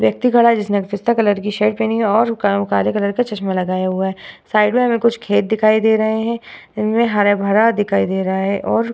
व्यक्ति खड़ा है जिसने एक पिस्ता कलर की शर्ट पेहनी है और क काले कलर की चश्मे लगया हुआ है। साइड में हमे कुछ खेत दिखाई दे रहा है। इनमे हरा-भरा दिखाई दे रहा है और --